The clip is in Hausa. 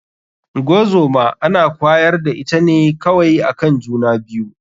Ngozoma ana kwayar da ita ne kawai akan juna biyu.